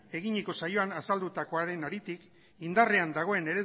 eginiko saioan azaldutakoaren haritik indarrean dagoen